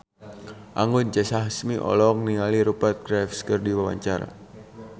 Anggun C. Sasmi olohok ningali Rupert Graves keur diwawancara